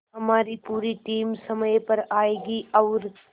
हमारी पूरी टीम समय पर आएगी और